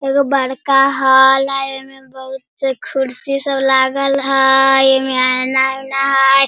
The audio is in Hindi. एगो बड़का हॉल हेय ओय में बहुत कुर्सी सब लागल हेय एमे एना ऊना हेय।